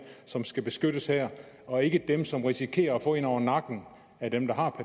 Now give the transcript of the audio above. som skal beskyttes her og ikke dem som risikerer at få en over nakken af dem der har